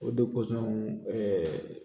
O